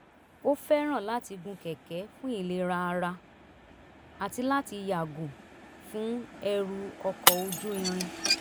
ó fẹ́ràn láti gun kẹ̀kẹ́ fún ìlera ara àti láti yàgò fún ẹrù ọkọ̀ ojú irin